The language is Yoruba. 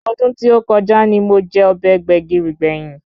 Ọdún tí ó kọjá ni mo jẹ ọbẹ̀ Gbẹ̀gìrì gbẹ̀yìn